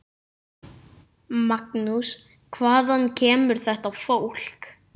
Magnús: Hvaðan kemur þetta fólk?